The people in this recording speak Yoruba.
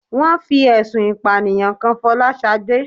Wón fi ẹ̀sùn ìpànìyàn kan Fọláṣadé